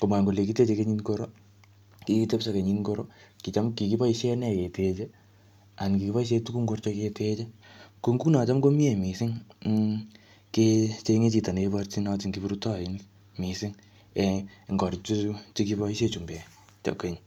Komwaa kole kikiteje kenyit ngoro, kiktepso kenyit ngoro. Kicham, kikiboisie nee keteje, anan kikiboisie tuguk ngorcho keteje. Ko nguno, kocham komiee missing um kechenge chito ne iborchin kiprutoinik missing um eng korik chutochu che kiboisie chumbek keny.